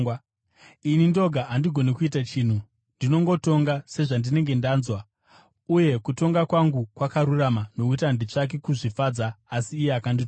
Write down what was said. Ini ndoga handigoni kuita chinhu; ndinongotonga sezvandinenge ndanzwa, uye kutonga kwangu kwakarurama, nokuti handitsvaki kuzvifadza asi iye akandituma.